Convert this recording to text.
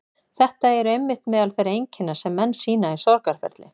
Þetta eru einmitt meðal þeirra einkenna sem menn sýna í sorgarferli.